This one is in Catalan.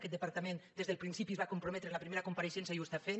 aquest departament des del principi s’hi va comprometre en la primera compareixença i ho fa